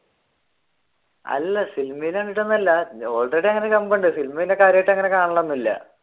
അല്ല സിനിമ കണ്ടിട്ടൊന്നുമല്ല already സിനിമ പിന്നെ കാര്യമായിട്ട് അങ്ങനെ കാണൽ ഒന്നുമില്ല.